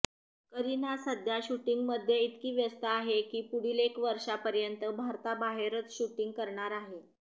करीना सध्या शूटिंगमध्ये इतकी व्यस्त आहे की पुढील एक वर्षापर्यंत भारताबाहेरच शूटिंग करणार आहे